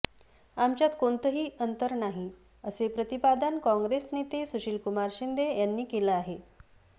आमच्यात कोणतंही अंतर नाही असे प्रतिपादन काँग्रेस नेते सुशीलकुमार शिंदे यांनी केलं आहे